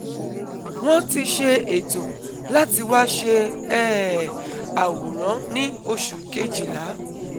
Wọ́n ti ṣe eto lati wa ṣe um aworan ni oṣu kejila